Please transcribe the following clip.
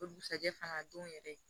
O dugusajɛ fana don yɛrɛ